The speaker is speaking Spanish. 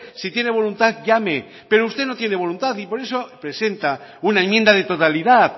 si tiene voluntad llame pero usted no tiene voluntad y por eso presenta una enmienda de totalidad